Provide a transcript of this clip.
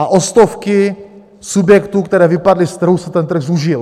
A o stovky subjektů, které vypadly z trhu, se ten trh zúžil.